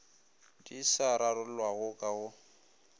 di sa rarollwago ka go